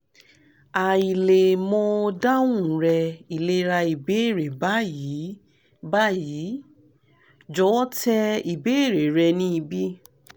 hi le mo dahun rẹ ilera ibeere bayi bayi jọwọ tẹ ibeere rẹ nibi